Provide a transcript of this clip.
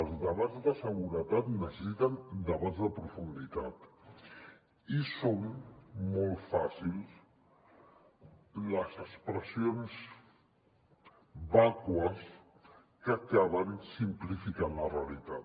els debats de seguretat necessiten debats de profunditat i són molt fàcils les expressions vàcues que acaben simplificant la realitat